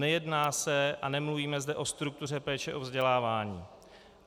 Nejedná se a nemluvíme zde o struktuře péče o vzdělávání.